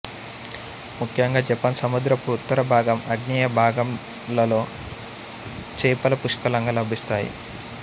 ముఖ్యంగా జపాన్ సముద్రపు ఉత్తర భాగం ఆగ్నేయ భాగంలలో చేపలు పుష్కలంగా లభిస్తాయి